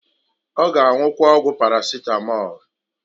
Ọ g' anwụkwa ọgwụ paracetamol.